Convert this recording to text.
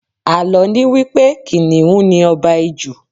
Àlọ́ ni wípé Kìnnìún ni Ọba Ijù.